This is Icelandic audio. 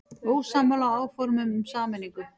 Ósammála áformum um sameiningu